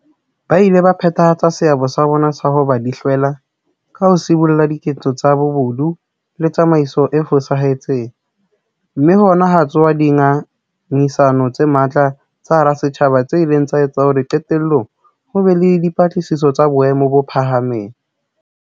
Ba ile ba phethahatsa seabo sa bona sa ho ba dihlwela ka ho sibolla diketso tsa bobodu le tsamaiso e fosahetseng, mme hona ha tsosa dinga ngisano tse matla ka hara setjhaba tse ileng tsa etsa hore qetellong ho be le dipatlisiso tsa boemo bo phahameng.